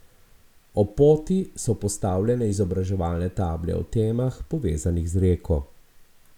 Ob poti so postavljene izobraževalne table o temah, povezanih z reko.